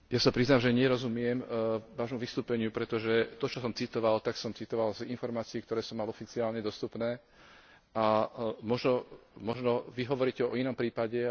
Ja sa priznám, že nerozumiem Vášmu vystúpeniu, pretože to, čo som citoval, som citoval z informácií, ktoré som mal oficiálne dostupné, a možno Vy hovoríte o inom prípade.